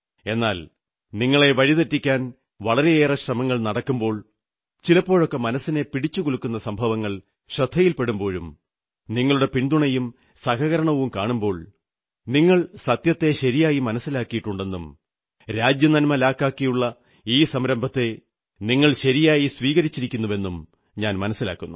എന്നാൽ നിങ്ങളെ വഴി തെറ്റിക്കാൻ വളരെയേറെ ശ്രമങ്ങൾ നടക്കുമ്പോൾ ചിലപ്പോഴൊക്കെ മനസ്സിനെ പിടിച്ചുകുലുക്കുന്ന സംഭവങ്ങൾ ശ്രദ്ധയിൽ പെടുമ്പോഴും നിങ്ങളുടെ പിന്തുണയും സഹകരണവും കാണുമ്പോൾ നിങ്ങൾ സത്യത്തെ ശരിയായി മനസ്സിലാക്കിയിരിക്കുന്നെന്നും രാജ്യനന്മ ലാക്കാക്കിയുള്ള ഈ സംരഭത്തെ നിങ്ങൾ ശരിയായി സ്വീകരിച്ചിരിക്കുന്നുവെന്നും മനസ്സിലാകുന്നു